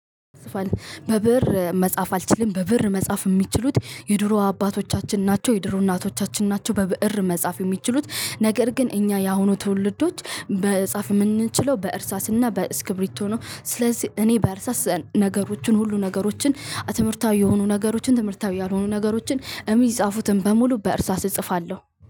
በብእር መጻፍ አልችልም በብእር መጻፍ የሚችሉት የድሮ አባቶቻችን ናቸው። የድሮ እናቶቻችን ናቸው። በብእር መጻፍ የሚችሉት ነገር ግን እኛ ያሁኑ ትውልዶች መጻፍ የምንችለው በእርሳስና በእስክብሪቶ ነው። ስለዚህ እኔ በእርሳስ ነገሮችን ሁሉ ነገሮችን ትምህርታዊ የሆኑ ነገሮችን ትምህርታዊ ያልሆኑ ነገሮችን እሚጻፉትን በሙሉ በእርሳስ እጽፋለሁ